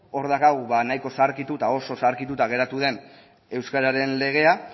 hor daukagu ba nahiko zaharkituta oso zaharkituta geratu den euskararen legea